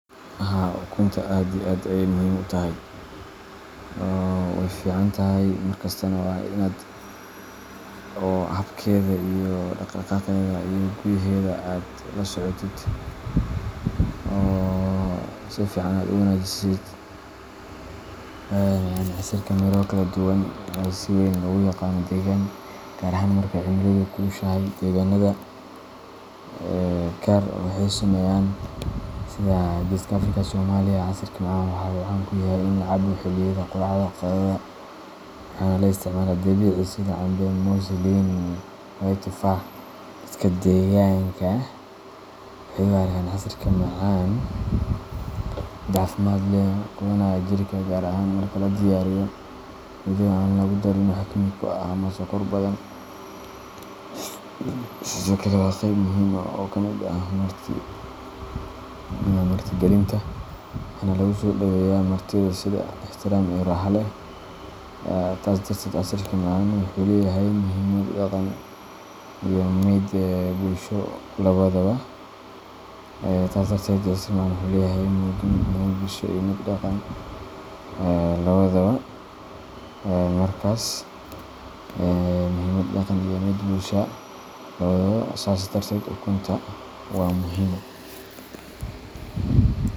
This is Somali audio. Haa ukunta aad iyo aad ayey muhim u tahay wey ficantahay. Casiirka macaan ama casiirka miro kala duwan waa cabitaan si weyn loogu yaqaan deegaano badan, gaar ahaan marka uu cimiladu kulushahay. Deegaannada qaar, gaar ahaan kuwa ku yaalla geeska Afrika sida Soomaaliya, casiirka macaan wuxuu caan ka yahay in la cabo xilliyada quraacda ama qadada, waxaana loo isticmaalaa miro dabiici ah sida cambe, muus, liin, babaay, iyo tufaax. Dadka deegaanka waxay u arkaan casiirka macaan mid caafimaad leh oo quudinaya jirka, gaar ahaan marka la diyaariyo iyadoo aan lagu darin wax kiimiko ah ama sokor badan. Sidoo kale, waa qayb muhiim ah oo ka mid ah martigelinta, waxaana lagu soo dhoweeyaa martida sida ikhtiraam iyo raaxo leh. Taas darteed, casiirka macaan wuxuu leeyahay muhiimad dhaqan iyo mid bulsho labadaba sas darted ukunta wa muhim.